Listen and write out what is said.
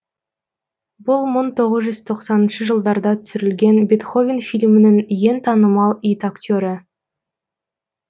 бұл мың тоғыз жүз тоқсаныншы жылдарда түсірілген бетховен фильмінің ең танымал ит актері